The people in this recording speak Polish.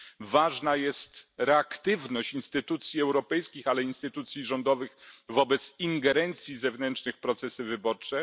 Ważna jest reaktywność instytucji europejskich, ale i instytucji rządowych wobec ingerencji zewnętrznych w procesy wyborcze.